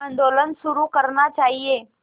आंदोलन शुरू करना चाहिए